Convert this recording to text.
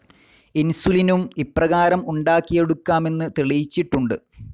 ഇൻസുലിനും ഇപ്രാകാരം ഉണ്ടാക്കിയെടുക്കാമെന്ന് തെളിയിച്ചിട്ടുണ്ട്.